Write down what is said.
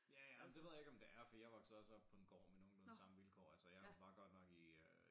Ja ej men det ved jeg ikke om det er fordi jeg voksede også op på en gård med nogenlunde samme vilkår altså jeg var godt nok i øh